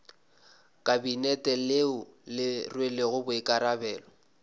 kabinete leo le rwelego boikarabelo